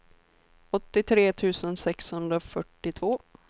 åttiotre tusen sexhundrafyrtiotvå